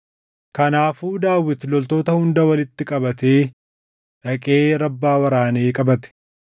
Kanaafuu Daawit loltoota hunda walitti qabatee dhaqee Rabbaa waraanee qabate.